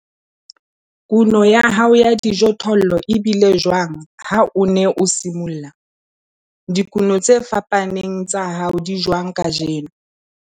Kuno ya hao ya dijothollo e bile jwang ha o ne o simolla? Dikuno tse fapaneng tsa hao di jwang kajeno?